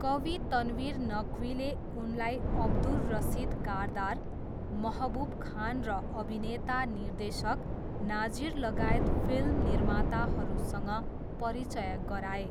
कवि तनवीर नक्वीले उनलाई अब्दुर रसिद कारदार, महबुब खान र अभिनेता निर्देशक नाजिरलगायत फिल्म निर्माताहरूसँग परिचय गराए।